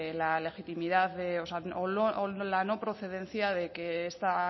la legitimidad o la no procedencia de que esta